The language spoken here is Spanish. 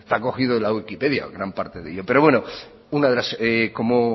está cogido de la wikipedia gran parte de ello pero bueno como